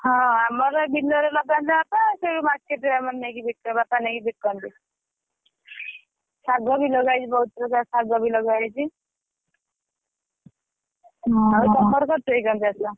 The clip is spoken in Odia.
ହଁ ଆମର ବିଲରେ ଲଗାନ୍ତି ବାପା ସେଇଯୋଉ market ରେ ଆମର ନେଇକି ବିକୁ ବାପା ନେଇକି ବିକନ୍ତି ଶାଗ ବି ଲଗା ହେଇଛି ବହୁତ ପ୍ରକାର ଶାଗ ବି ଲଗା ହେଇଛି ଆଉ ତମର କରିଛ କି ?